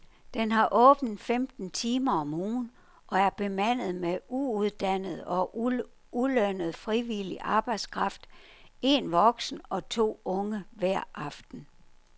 Den har åbent femten timer om ugen og er bemandet med uuddannet og ulønnet frivillig arbejdskraft, en voksen og to unge hver aften.